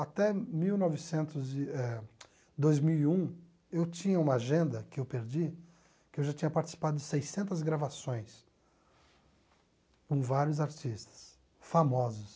Até mil novecentos e eh dois mil e um, eu tinha uma agenda que eu perdi, que eu já tinha participado de seiscentas gravações com vários artistas famosos.